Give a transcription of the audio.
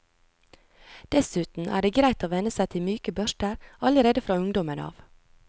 Dessuten er det greit å venne seg til myke børster allerede fra ungdommen av.